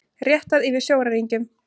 Réttað yfir sjóræningjum